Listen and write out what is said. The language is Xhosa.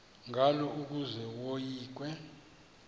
ngalo ukuze yoyikwe